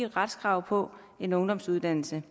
retskrav på en ungdomsuddannelse